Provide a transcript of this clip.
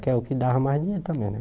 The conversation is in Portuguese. Que é o que dava mais dinheiro também, né?